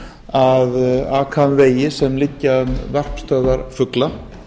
að aka um vegi sem liggja um varpstöðvar fugla